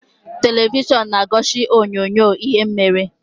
Televishọn na-egosi onyoonyo ihe mere.